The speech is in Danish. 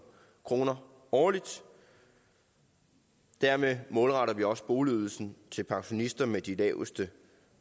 kroner årligt dermed målretter vi også boligydelsen til pensionister med de laveste